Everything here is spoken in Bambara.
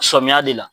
Sɔmiyɛ de la